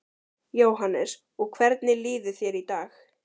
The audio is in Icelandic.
Jóhannes: Og hvernig líður þér í dag?